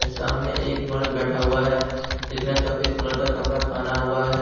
सामने एक मर्द बैठा हुआ है जिसने सफेद कलर का कपड़ा पहना हुआ है।